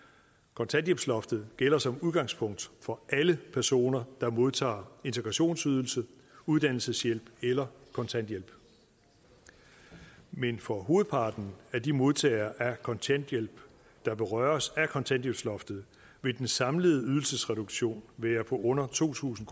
kontanthjælpsloftet gælder som udgangspunkt for alle personer der modtager integrationsydelse uddannelseshjælp eller kontanthjælp men for hovedparten af de modtagere af kontanthjælp der berøres af kontanthjælpsloftet vil den samlede ydelsesreduktion være på under to tusind